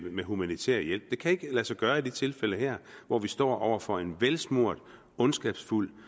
humanitær hjælp det kan ikke lade sig gøre i det her tilfælde hvor vi står over for en velsmurt ondskabsfuld